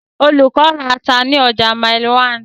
Olùkọ́ ra ata ní ọjà Mile 1.